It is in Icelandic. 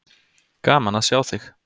Gaman að sjá þig.